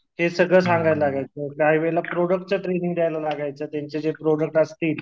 हे सगळं सांगायला लागायचं काहीवेळेला प्रोडक्ट्च्या ट्रेंनिंग द्यायला लागायच्या त्यांचे जे प्रोडक्ट असतील